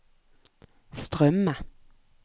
strømme